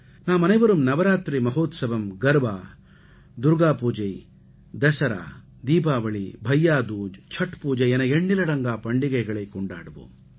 நாமனைவரும் நவராத்திரி மஹோத்சவம் கர்பா துர்க்கா பூஜா தஸரா தீபாவளி பையா தூஜ் சட்பூஜை என எண்ணிலடங்கா பண்டிகைகளைக் கொண்டாடுவோம்